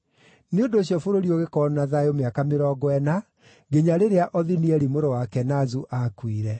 Nĩ ũndũ ũcio bũrũri ũgĩkorwo na thayũ mĩaka mĩrongo ĩna, nginya rĩrĩa Othinieli mũrũ wa Kenazu aakuire.